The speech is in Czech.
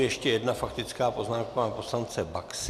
Ještě jedna faktická poznámka, pana poslance Baxy.